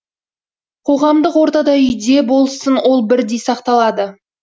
қоғамдық ортада үйде болсын ол бірдей сақталады